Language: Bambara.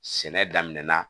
Sɛnɛ daminɛna